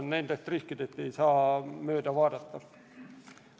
Nendest riskidest ei saa mööda vaadata.